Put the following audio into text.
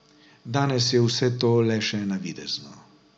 Danes je vse to le še navidezno.